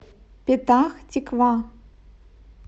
петах тиква